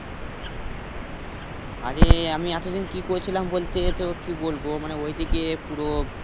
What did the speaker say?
আরে আমি এত দিন কি করছিলাম বলতে তো কি বলবো মানে ঐদিকে পুরো